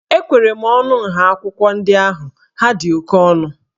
Ekwere m ọnụ nha akwụkwọ ndị ahụ, ha dị oke ọnụ